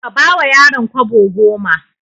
Ka bawa yaron kwabo goma.